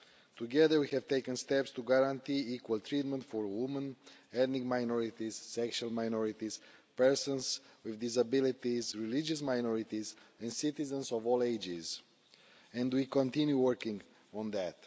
Together, we have taken steps to guarantee equal treatment for women, ethnic minorities, sexual minorities, persons with disabilities, religious minorities and citizens of all ages. And we continue to work on that.